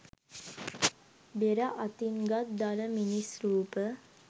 බෙර අතින්ගත් දළ මිනිස් රූප